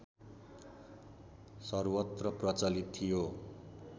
सर्वत्र प्रचलित थियो